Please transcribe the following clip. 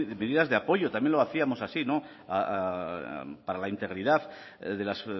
medidas de apoyo también lo hacíamos así no para la integridad de las